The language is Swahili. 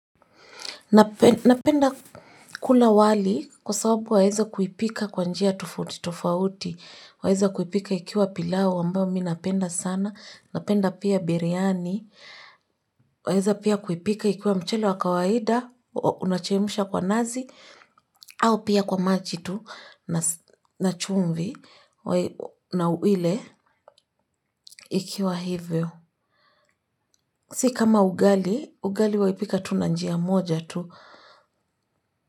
Napenda kula wali kwa sababu waeza kuipika kwa njia tofauti tofauti, waeza kuipika ikiwa pilau ambao mi napenda sana, napenda pia biryani, waeza pia kuipika ikiwa mchele wa kawaida, unachemsha kwa nazi, au pia kwa maji tu na chumvi na uile ikiwa hivyo. Si kama ugali, ugali waipika tu na njia moja tu.